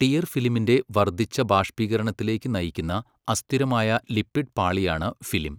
Tear ഫിലിമിന്റെ വർദ്ധിച്ച ബാഷ്പീകരണത്തിലേക്ക് നയിക്കുന്ന അസ്ഥിരമായ ലിപിഡ് പാളിയാണ് ഫിലിം .